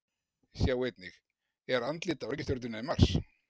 Sjá einnig: Er andlit á reikistjörnunni Mars?